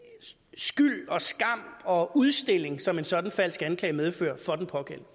skyld og skam og udstilling som en sådan falsk anklage medfører for den pågældende